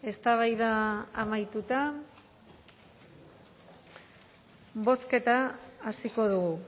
eztabaida amaituta bozketa hasiko dugu